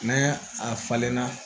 Mɛ a falenna